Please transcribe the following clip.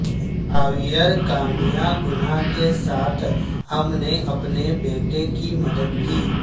Javier کامیا گناہ کے ساتھ ہم نے اپنے بیٹے کی مدد کی